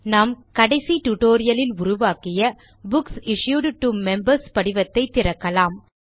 நாம் கடைசி டியூட்டோரியல் லில் உருவாக்கிய புக்ஸ் இஷ்யூட் டோ மெம்பர்ஸ் படிவத்தை திறக்கலாம்